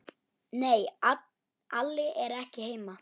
Nei, Alli er ekki heima.